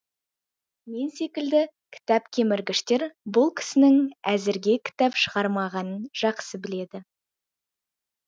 мен секілді кітап кеміргіштер бұл кісінің әзірге кітап шығармағанын жақсы біледі